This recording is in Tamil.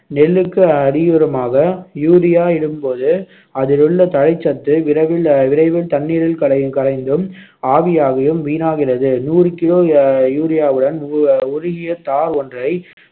நெல்லுக்கு அடியுரமாக யூரியா இடும்போது அதிலுள்ள தழைச்சத்து விரைவில் விரைவில் தண்ணீரில் கரை கரைந்தும் ஆவியாகியும் வீணாகிறது நூறு கிலோ அஹ் யூரியாவுடன் உருகிய தார் ஒன்றை